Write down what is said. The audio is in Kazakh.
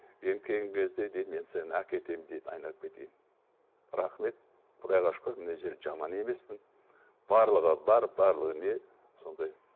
енді келген кезде дейді мен сені әкетемін дейді айналып кетейін рахмет құдайға шүкір мына жерде жаман емеспін барлығы бар барлығы не сондай